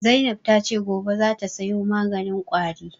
Zainab ta ce gobe za ta sayo maganin ƙwari